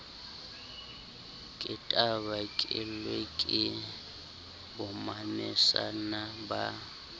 ke tanakelwe ke bommamesana ba